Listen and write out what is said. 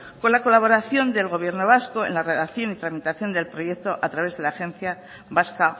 con la colaboración del gobierno vasco en la redacción y tramitación del proyecto a través de la agencia vasca